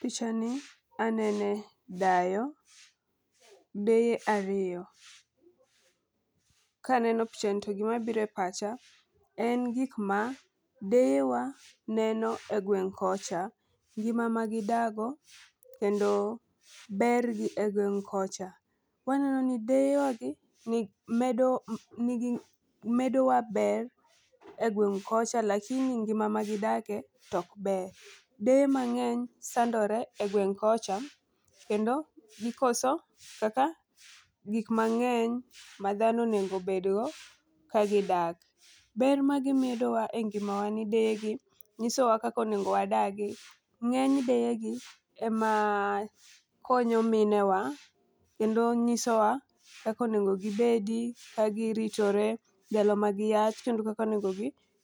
Picha ni anene dayo deye ariyo. Kaneno picha ni to gima bire pacha en gik ma deye wa neno e gweng' kocha, ngima ma gidago kendo ber gi e gweng' kocha. Waneno ni deyewa gi medo nigi medo wa ber e gweng' kocha lakini ngima magidake tok ber. Deye mang'eny sandore e gweng' kocha kendo gikoso kaka gik mang'eny ma dhano onego bed go ka gidak. Ber ma gimedo wa e ngimawa en ni deye gi nyiso wa kaka onego wadagi. Ng'eny deyegi e ma konyo minewa kendo nyiso wa kaka onego gibedi ka giritore ndalo ma giyach kendo kako nego